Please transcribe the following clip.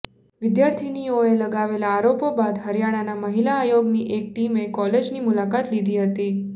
વિદ્યાર્થિનીઓએ લગાવેલા આરોપો બાદ હરિયાણા મહિલા આયોગની એક ટીમે કોલેજની મુલાકાત લીધી હતી